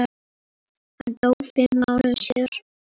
Hann dó fimm mánuðum síðar.